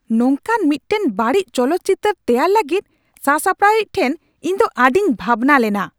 ᱱᱚᱝᱠᱟᱱ ᱢᱤᱫᱴᱟᱝ ᱵᱟᱹᱲᱤᱡ ᱪᱚᱞᱚᱛ ᱪᱤᱛᱟᱹᱨ ᱛᱮᱭᱟᱨ ᱞᱟᱹᱜᱤᱫ ᱥᱟᱥᱟᱯᱲᱟᱣᱤᱡ ᱴᱷᱮᱱ ᱤᱧ ᱫᱚ ᱟᱹᱰᱤᱧ ᱵᱷᱟᱵᱱᱟᱞᱮᱱᱟ ᱾